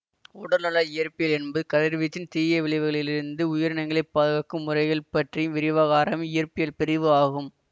உடல்நல இயற்பியல் என்பது கதிர்வீச்சின் தீய விளைவுகளிலிருந்து உயிரினங்களைப் பாதுகாக்கும் முறைகள் பற்றி விரிவாக ஆராயும் இயற்பியல் பிரிவு ஆகும்